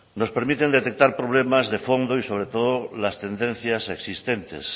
nos permiten detectar problemas de fondo y sobre todo las tendencias existentes